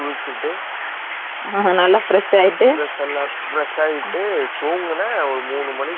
நல்ல fresh அயிட்டு தூங்குனென் மூனு மனிக்கு தூங்குனது ஏலு மனிக்கு தான் எந்திரிச்சேன்